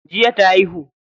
Jiya ta haihu.